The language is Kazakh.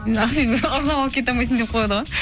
ақбибі ұрлап алып кете алмайсың деп қояды ғой